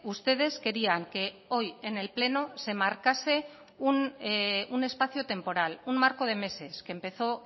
ustedes querían que hoy en el pleno se marcase un espacio temporal un marco de meses que empezó